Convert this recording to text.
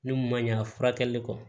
Ne kun ma ɲa furakɛli kɔ